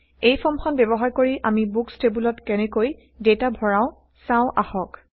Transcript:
এই ফৰ্মখন ব্যৱহাৰ কৰি আমি বুকচ টেবোলত কেনেকৈ ডেটা ভৰাও160চাও আহক